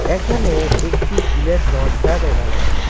এখানে একটি গিলের দরজা দেখা যাচ্ছে।